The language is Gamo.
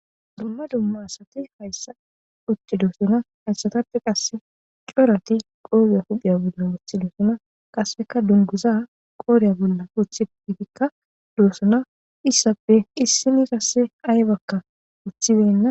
Dumma dumma asati hayssa puce doosona hayssatappe qasse corati qoobe huphiya bolla wothilisona qasseka dunguza qoorya bolla oththepefikka doossona issappe issini kasse aye bakka uthidenna.